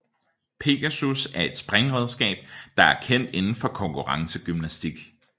Pegasus er et springredskab der er kendt indenfor konkurrencegymnastik